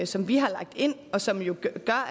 som vi har lagt ind og som jo gør